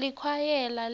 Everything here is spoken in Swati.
likwayela